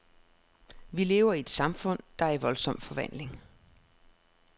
Vi lever i et samfund, der er i voldsom forvandling.